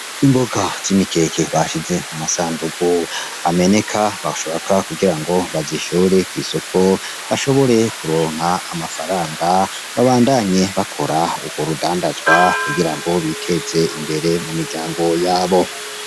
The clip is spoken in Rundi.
Imboga z'imikeke bashize mumasandugu ameneka bashaka kugirango bazishore kwisoko bashobore kuronka amafaranga babandanye bakora urwo rudandazwa kugira biteze imbere mumiryango yabo.